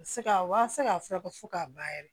Se ka wa se ka furakɛ fo k'a ban yɛrɛ